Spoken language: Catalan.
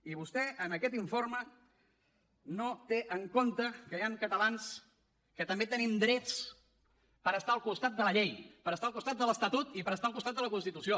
i vostè en aquest informe no té en compte que hi han catalans que també tenim drets per estar al costat de la llei per estar al costat de l’estatut i per estar al costat de la constitució